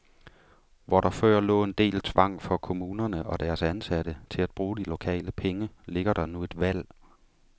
Hvor der før lå en del tvang for kommunerne og deres ansatte til at bruge de lokale penge, ligger der nu et valg.